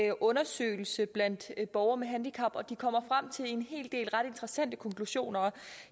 en undersøgelse blandt borgere med handicap og de kommer frem til en hel del ret interessante konklusioner